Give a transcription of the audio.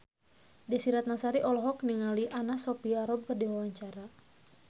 Desy Ratnasari olohok ningali Anna Sophia Robb keur diwawancara